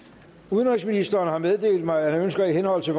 udenrigsministeren har meddelt mig at han ønsker i henhold til